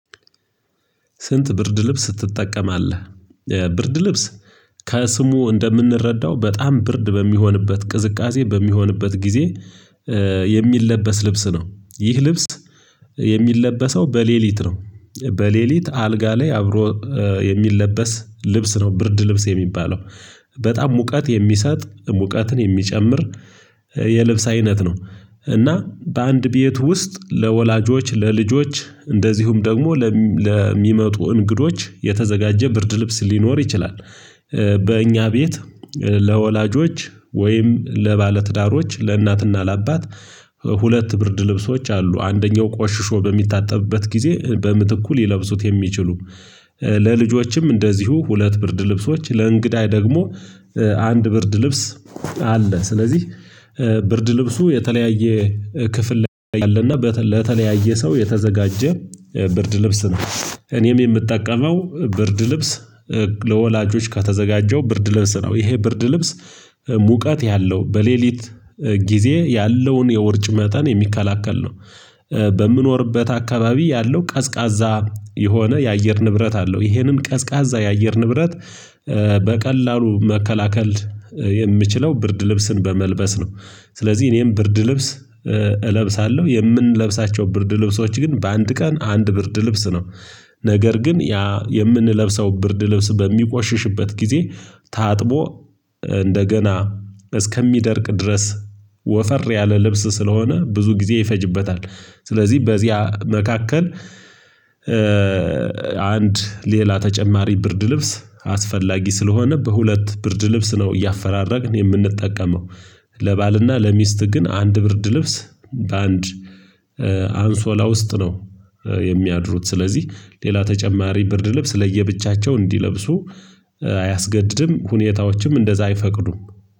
ስንት ብርድ ልብስ ትጠቀማለህ? ብርድ ልብስ ከስሙ እንደምንረዳው በጣም ብርድ በሚሆንበት ቅዝቃዜ በሚሆንበት ጊዜ። የሚለበስ ልብስ ነው ይህ ልብስ የሚለበሰው በሌሊት ነው። በሌሊት አልጋ ላይ አብሮ የሚለበስ ልብስ ነው ብርድ ልብስ የሚባለው በጣም ሙቀት የሚሰጥ ሙቀትን የሚጨምር የልብስ አይነት ነው። እና በአንድ ቤት ውስጥ ለወላጆች ለልጆች እንደዚሁም ደግሞ ለሚመጡ እንግዶች የተዘጋጀ ብርድ ልብስ ሊኖር ይችላል። በእኛ ቤት ለወላጆች ወይም ለባለትዳሮች ለእናትና ለአባት ሁለት ብርድ ልብሶች አሉ። አንደኛው ቆሽሾ በሚታጠብበት ጊዜ በምትኩ ሊለብሱት የሚችሉም ለልጆችም እንደዚሁ ሁለት ብርድ ልብሶች ለእንግዳይ ደግሞ አንድ ብርድ ልብስ አለ። ስለዚህ ብርድ ልብሱ የተለያየ ክፍል ላይ አለና ለተለያየ ሰው የተዘጋጀ ብርድ ልብስ ነው። እኔም የምጠቀመው ብርድ ልብስ ለወላጆች ከተዘጋጀው ብርድ ልብስ ነው። ይሄ ብርድ ልብስ ሙቀት ያለው በሌሊት ጊዜ ያለውን የውርጭ መጠን የሚከላከል ነው። በምኖርበት አካባቢ ያለው ቀዝቃዛ የሆነ የአየር ንብረት አለው። ይሄንን ቀዝቃዛ የአየር ንብረት በቀላሉ መከላከል የምችለው ብርድ ልብስን በመልበስ ነው። ስለዚህ እኔም ብርድ ልብስ እለብሳለሁ። የምንለብሳቸው ብርድ ልብሶች ግን በአንድ ቀን አንድ ብርድ ልብስ ነው። ነገር ግን ያ የምንለብሰው ብርድ ልብስ በሚቆሽሽበት ጊዜ ታጥቦ እንደገና እስከሚደርቅ ድረስ ወፈር ያለ ልብስ ስለሆነ ብዙ ጊዜ ይፈጅበታል። ስለዚህ በዚያ መካከል አንድ ሌላ ተጨማሪ ብርድ ልብስ አስፈላጊ ስለሆነ በሁለት ብርድ ልብስ ነው። እያፈራረቅን የምንጠቀመው ለባልና ለሚስት ግን አንድ ብርድ ልብስ በአንድ አንሶላ ውስጥ ነው። የሚያድሩት ስለዚህ ሌላ ተጨማሪ ብርድ ልብስ ለየብቻቸው እንዲለብሱ አያስገድድም ሁኔታዎችም እንደዛ አይፈቅዱም።